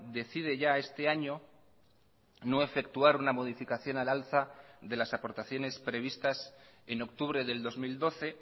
decide ya este año no efectuar una modificación al alza de las aportaciones previstas en octubre del dos mil doce